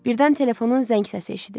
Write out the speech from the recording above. Birdən telefonun zəng səsi eşidildi.